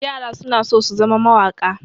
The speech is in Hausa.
Yara suna so su zama mawaƙa.